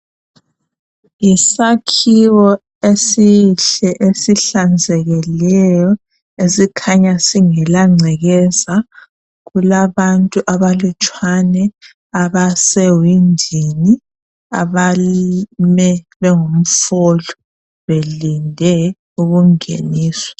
Yisakhiwo esihle esihlanzekileyo esikhanya singela ngcekeza. Kulabantu abalutshwane abasewindini abame bengumfolo belinde ukungeniswa.